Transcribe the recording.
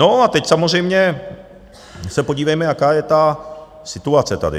No a teď samozřejmě se podívejme, jaká je ta situace tady.